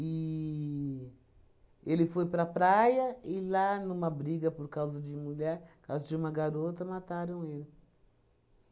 ele foi para praia e lá, numa briga por causa de mulher, por causa de uma garota, mataram ele.